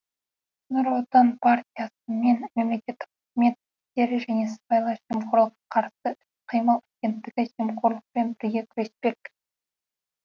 нұр отан партиясы мен мемлекеттік қызмет істері және сыбайлас жемқорлыққа қарсы іс қимыл агенттігі жемқорлықпен бірге күреспек